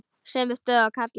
Sömu stöðu og karlar.